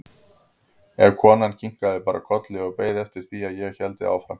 En konan kinkaði bara kolli og beið eftir því að ég héldi áfram.